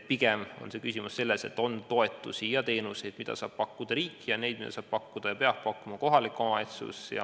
Pigem on küsimus selles, et on toetusi ja teenuseid, mida saab pakkuda riik, ning neid, mida saab pakkuda ja peabki pakkuma kohalik omavalitsus.